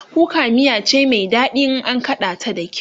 kuka miya cai Mai daɗi in an kaɗa ta da kyau